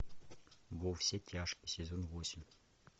во все тяжкие сезон восемь